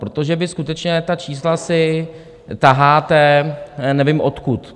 Protože vy skutečně ta čísla si taháte, nevím odkud.